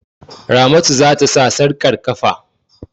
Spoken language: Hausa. Ramatu za ta sa sarƙar ƙafa.